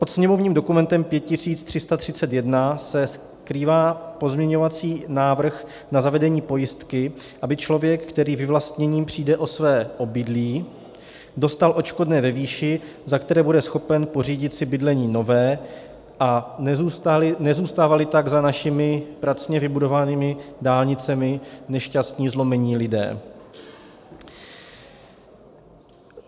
Pod sněmovním dokumentem 5331 se skrývá pozměňovací návrh na zavedení pojistky, aby člověk, který vyvlastněním přijde o své obydlí, dostal odškodné ve výši, za kterou bude schopen pořídit si bydlení nové, a nezůstávali tak za našimi pracně vybudovanými dálnicemi nešťastní, zlomení lidé.